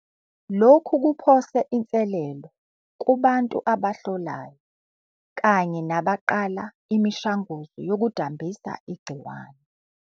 Lokhu kuphose inselelo kubantu abahlolayo kanye nabaqala imishanguzo yokudambisa igciwane.